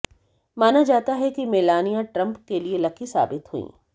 माना जाता है कि मेलानिया ट्रंप के लिए लकी साबित हुईं